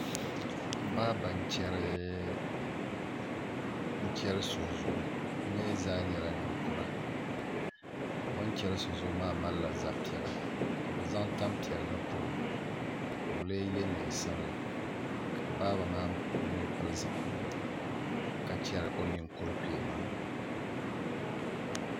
Baaba n chɛri so zuɣu bi mii zaa nyɛla ninkura dama o ni chɛri so zuɣu maa malila zabi piɛla ka bi zaŋ tanpiɛlli pobo ka o lee yɛ neen sabila ka baaba maa mii pili zipiligu ka chɛri o ninkuri kpee maa